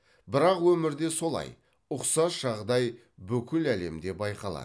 бірақ өмірде солай ұқсас жағдай бүкіл әлемде байқалады